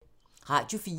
Radio 4